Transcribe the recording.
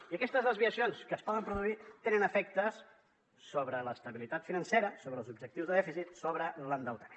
i aquestes desviacions que es poden produir tenen efectes sobre l’estabilitat financera sobre els objectius de dèficit sobre l’endeutament